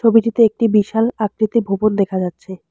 ছবিটিতে একটি বিশাল আকৃতির ভবন দেখা যাচ্ছে।